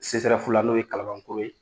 i sesɛrɛfu la n'o ye kalalan koro ye